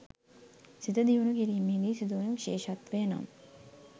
සිත දියුණු කිරීමේදී සිදුවන විශේෂත්වය නම්